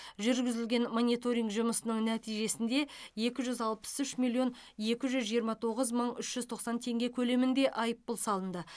жүргізілген мониторинг жұмысының нәтижесінде екі жүз алпыс үш миллион екі жүз жиырма тоғыз мың үш жүз тоқсан теңге көлемінде айыппұл салынды